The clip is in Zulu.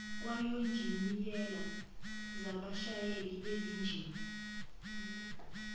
kwawonjiniyela zabashayeli bezinjini